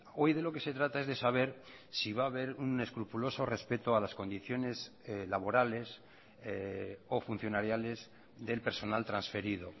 hoy de lo que se trata es de saber si va haber un escrupuloso respeto a las condiciones laborales o funcionariales del personal transferido